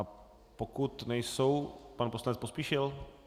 A pokud nejsou, pan poslanec Pospíšil?